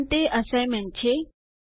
અંતે અસાઇનમેન્ટ છે